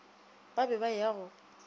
ba be ba ya go